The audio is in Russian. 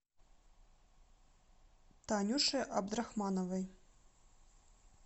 танюше абдрахмановой